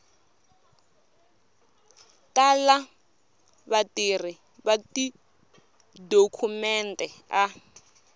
tala vatirhi va tidokhumente a